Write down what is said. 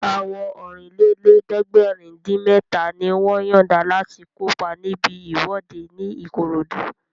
Àwọn Ọ̀rìnlélẹ̀ẹ́dẹ́gbèrin-dín-mẹ́ta ni wọ́n yọ̀nda láti kópa níbi ìwọ́de ní Ìkòròdú